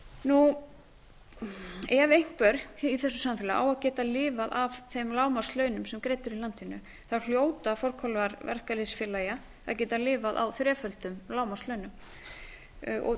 ef einhver í þessu samfélagi á að geta lifað af þeim lágmarkslaunum sem greidd eru í landinu hljóta forkólfar verkalýðsfélaga að geta lifað á þreföldum lágmarkslaunum eins